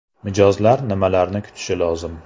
Mijozlar nimalarni kutishi lozim?